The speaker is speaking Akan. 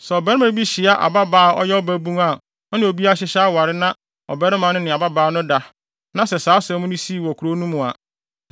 Sɛ ɔbarima bi hyia ababaa a ɔyɛ ɔbabun a ɔne obi ahyehyɛ aware na ɔbarima no ne ababaa no da na sɛ saa asɛm no sii wɔ kurow no mu a,